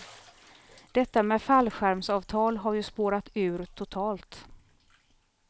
Detta med fallskärmsavtal har ju spårat ur totalt.